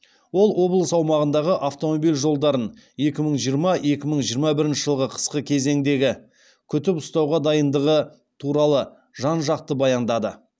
ол облыс аумағындағы автомобиль жолдарын екі мың жиырма екі мың жиырма бірінші жылғы қысқы кезендегі күтіп үстауға дайындығы туралы жан жақты баяндады